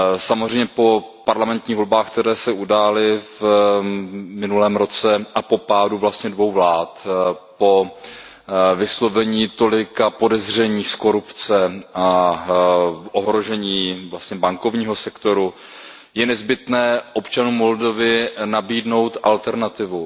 Samozřejmě po parlamentních volbách, které se udály v minulém roce, a po pádu vlastně dvou vlád. Po vyslovení tolika podezření z korupce a ohrožení vlastně bankovního sektoru je nezbytné občanům Moldavska nabídnout alternativu.